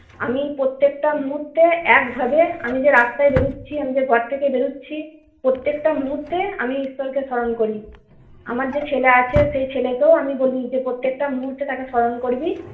আমি প্রত্যেকটা মুহূর্তে একভাবে আমি যে রাস্তায় বেরোচ্ছি আমি যে ঘরথেকে বেরোচ্ছি প্রত্যেকটা মুহূর্তে আমি ঈশ্বরকে স্মরণ করি। আমার যে ছেলে আছে সেই ছেলে কেউ আমি বলি যে প্রত্যেকটা মুহূর্তে তাকে স্মরণ করবি।